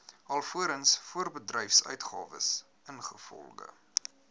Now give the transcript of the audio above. alvorens voorbedryfsuitgawes ingevolge